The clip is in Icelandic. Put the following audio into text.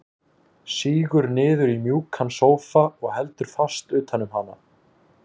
Sígur niður í mjúkan sófa og heldur fast utan um hana.